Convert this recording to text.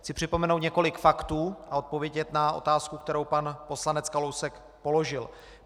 Chci připomenout několik faktů a odpovědět na otázku, kterou pan poslanec Kalousek položil.